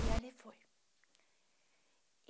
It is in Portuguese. E ali foi.